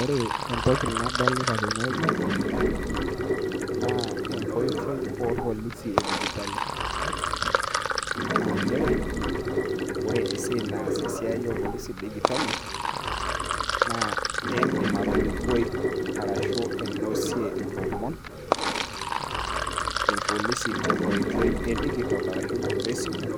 Ore entoki nadolita tenewueji, naa enkoitoi orpolisi edijitali. Ah njere, ore esiai naas esiai orpolisi dijitali, na iidim atalikoi arashu ainosie ilomon, irpolisi tenkoitoi digital arashu we simu,